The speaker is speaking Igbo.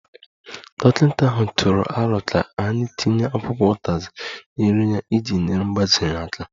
Dọkịta ahụ tụrụ aro ka anyị tinye akwụkwọ utazi na nri ya iji nyere mgbaze ya aka